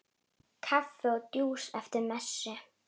Kaffi og djús eftir messu.